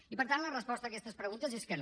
i per tant la resposta a aquestes preguntes és que no